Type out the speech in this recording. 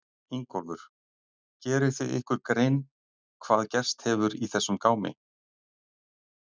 Ingólfur: Gerið þið ykkur grein hvað gerst hefur í þessum gámi?